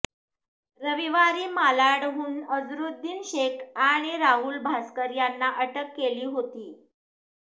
रविवारी मालाडमधून अझरुद्दीन शेख आणि राहुल भास्कर यांना अटक केली होती